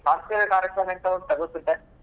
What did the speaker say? ಸಾಂಸ್ಕೃತಿಕ ಕಾರ್ಯಕ್ರಮ ಎಂತ ಉಂಟಾ ಗೊತ್ತುಂಟಾ.